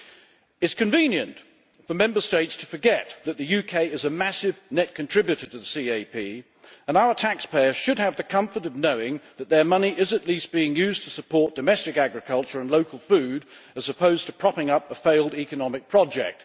It is convenient for Member States to forget that the UK is a massive net contributor to the CAP, and our taxpayers should have the comfort of knowing that their money is at least being used to support domestic agriculture and local food, as opposed to propping up a failed economic project.